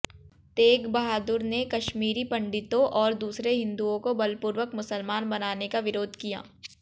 तेग बहादुर ने काश्मीरी पण्डितों और दूसरे हिन्दुओं को बलपूर्वक मुसलमान बनाने का विरोध किया